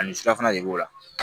Ani surafana de b'o la